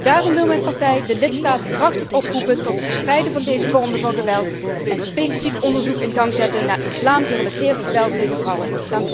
Daarom wil mijn partij de lidstaten krachtig oproepen tot het bestrijden van deze vormen van geweld en specifiek onderzoek in gang zetten naar islam gerelateerd geweld tegen vrouwen.